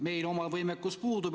Meil omal võimekus puudub.